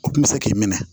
O kun bɛ se k'i minɛ